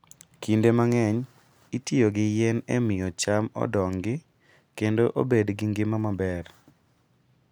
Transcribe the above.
Kinde mang'eny, itiyo gi yien e miyo cham odongi kendo obed gi ngima maber.